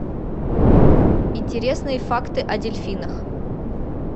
интересные факты о дельфинах